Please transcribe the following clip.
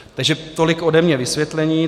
Takže tolik ode mě vysvětlení.